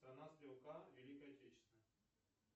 страна стрелка великой отечественной